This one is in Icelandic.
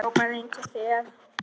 Frábær eins og þér.